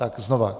Tak znova.